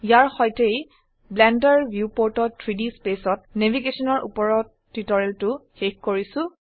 ইয়াৰ সৈতেই ব্লেন্ডাৰ ভিউপোৰ্টত 3ডি spaceত ন্যাভিগেশনৰ উপৰত টিউটোৰিয়েলটো শেষ কৰিছো